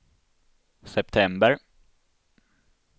september